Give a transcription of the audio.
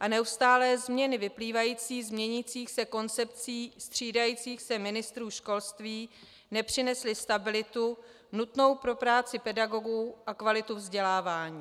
a neustálé změny vyplývající z měnících se koncepcí střídajících se ministrů školství nepřinesly stabilitu nutnou pro práci pedagogů a kvalitu vzdělávání.